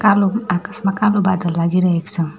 कालो आकाशमा कालो बादल लागिरहेको छ।